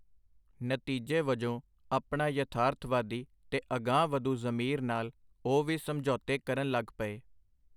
ਨਤੀਜੇ ਵਜੋਂ ਆਪਣਾ ਯਥਾਰਥਵਾਦੀ ਤੇ ਅਗਾਂਹ-ਵਧੂ ਜ਼ਮੀਰ ਨਾਲ ਉਹ ਵੀ ਸਮਝੌਤੇ ਕਰਨ ਲਗ ਪਏ.